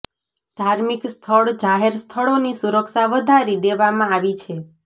ધાર્મિક સ્થળ જાહેર સ્થળોની સુરક્ષા વધારી દેવામાં આવી છે